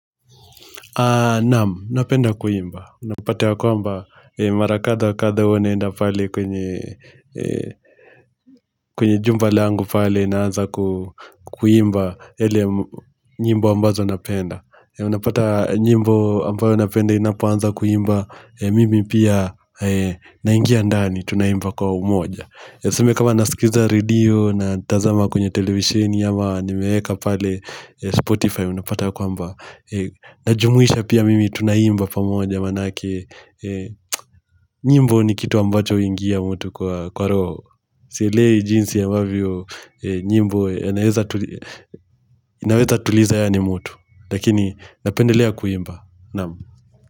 Naam, napenda kuimba. Unapata ya kwamba mara kadha wa kadha huwa naenda pale kwenye kwenye jumba langu pale naanza kuimba yale nyimbo ambazo napenda. Unapata nyimbo ambayo napenda inapoanza kuimba. Mimi pia naingia ndani tunaimba kwa umoja. Tuseme kama nasikiza radio, natazama kwenye televisheni ama nimeweka pale Spotify unapata ya kwamba najumuisha pia mimi tunaimba pamoja maanake nyimbo ni kitu ambacho huingia mtu kwa roho. Sielewi jinsi ambavyo nyimbo inaweza tuliza yaani mtu Lakini napendelea kuimba Naam.